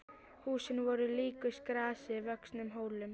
Húsin voru líkust grasi vöxnum hólum.